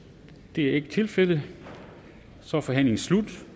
det er ikke tilfældet så er forhandlingen slut